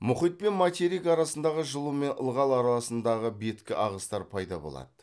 мұхит пен материк арасындағы жылу мен ылғал арасындағы беткі ағыстар пайда болады